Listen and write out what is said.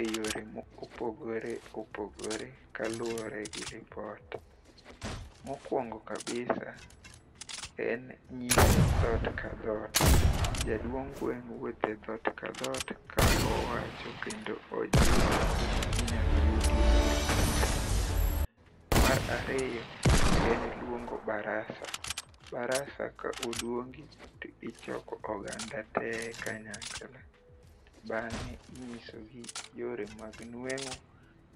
e yore mopogore opogore kaluwore gi lipot. Mokwongo kabisa en nyiso dhoot ka dhot, jaduong' gweng' wuotho e dhot ka dhot ka owacho kendo ojiwo kuma inyalo yudie yor nueng'o. Mar ariyo en luongo barasa. Barasa ka oluongi to ichoko oganda te kanyakla, bang'e inyisogi yore mag nueng'o